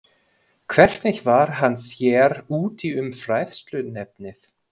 Hvernig varð hann sér úti um fræðsluefnið?